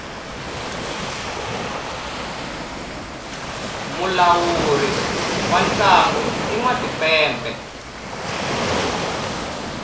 mulawuri wa ntlangu i nwa timpepe